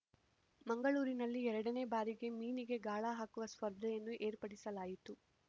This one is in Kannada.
ಮಂಗಳೂರಿನಲ್ಲಿ ಎರಡನೇ ಬಾರಿಗೆ ಮೀನಿಗೆ ಗಾಳ ಹಾಕುವ ಸ್ಪರ್ಧೆಯನ್ನು ಏರ್ಪಡಿಸಲಾಯಿತು